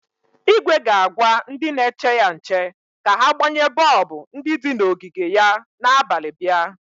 Igwe ga-agwa ndị na-eche ya nche ka ha gbanye bọọbụ ndi di n'ogige ya na abalị bịa.